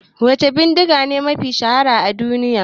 Wace bidigace mafi shahara a duniya?